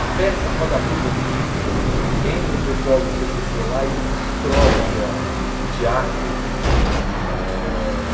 A peça Roda Viva do Chico entra um pessoal do cê cê cê lá e destrói aquela o teatro. Eh